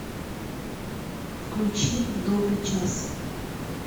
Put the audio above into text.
включи в добрый час